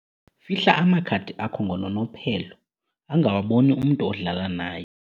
Fihla amakhadi akho ngononophelo angawaboni umntu odlala naye.